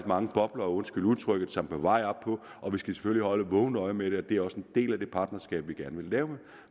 mange bobler undskyld udtrykket som er på vej op og vi skal selvfølgelig holde et vågent øje med det og det er også en del af det partnerskab vi gerne vil lave